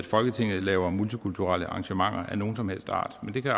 folketinget laver multikulturelle arrangementer af nogen som helst art men det kan